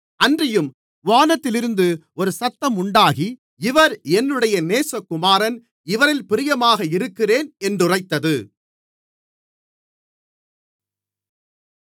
அன்றியும் வானத்திலிருந்து ஒரு சத்தம் உண்டாகி இவர் என்னுடைய நேசகுமாரன் இவரில் பிரியமாக இருக்கிறேன் என்று உரைத்தது